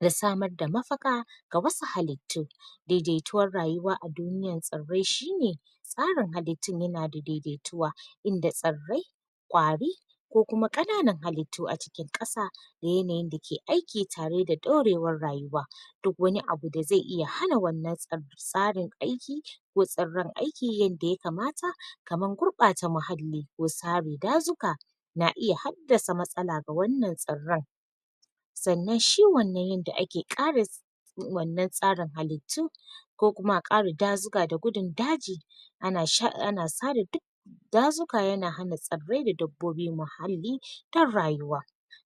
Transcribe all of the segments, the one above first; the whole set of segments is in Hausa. da samar da mafaka ga wasu halitu daidaituwar rayuwa a duniyar tsarai shi ne tsarin halitun ya na da daidaituwa inda tsarai, kwari ko kuma kananan halitu a cikin kasa da yanayin da ke da aiki tare da daurewar rayuwa. Duk wani abu da zai iya hana wannan tsa tsarin aiki ko tsarai'n aiki yanda ya kamata kamar gurba ta muhalli wa sari dazuka na iya hadasa matsala ga wannan tsarai'n. Tsannan shi wannan yanda ake ƙara wannan tsarin halitu ko kuma a ƙara dazuka da gudun daji a na sha, a na tsare duk dazuƙa ya na hana tsarai da dabbobi muhalli dan rayuwa,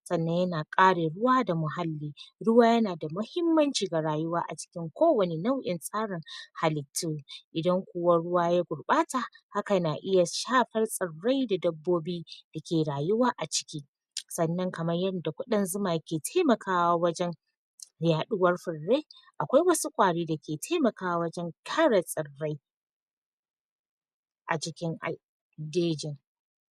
tsannan ya na kare ruwa da muhalli ruwa ya na da mahimmanci ga rayuwa, a cikin ko wani nau in tsarin halitu. Idan ku wa ruwa ya gurbata haka na iya shapar tsarai da dabbobi da ke rayuwa a ciki. Tsannan kaman yanda kudin zuma ke taimakawa wajen mai haduwar furei akwai wasu ƙwari da ke taimakawa wajen kara tsarai a jikin ai, dejin.